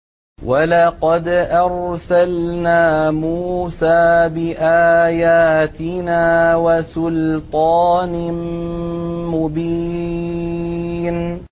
وَلَقَدْ أَرْسَلْنَا مُوسَىٰ بِآيَاتِنَا وَسُلْطَانٍ مُّبِينٍ